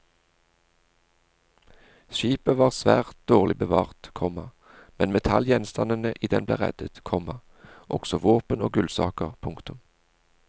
Skipet var svært dårlig bevart, komma men metallgjenstandene i den ble reddet, komma også våpen og gullsaker. punktum